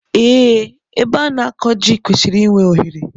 Ee, ebe a na akọ ji kwesịrị I nwe ohere